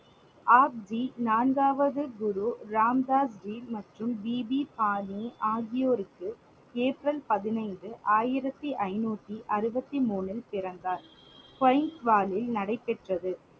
ஆப்ஜி நான்காவது குரு ராம் தாஸ் ஜி மற்றும் பிபி பாணி ஆகியோருக்கு ஏப்ரல் பதினைந்து ஆயிரத்தி ஐநூத்தி அறுபத்தி மூணில் பிறந்தார் நடைபெற்றது